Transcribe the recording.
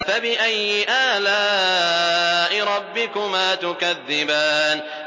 فَبِأَيِّ آلَاءِ رَبِّكُمَا تُكَذِّبَانِ